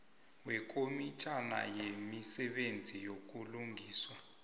wekomitjhana yemisebenzi yobulungiswa